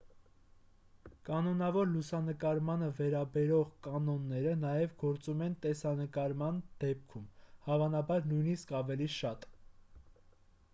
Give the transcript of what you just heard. կանոնավոր լուսանկարմանը վերաբերող կանոնները նաև գործում են տեսանկարման դեպքում հավանաբար նույնիսկ ավելի շատ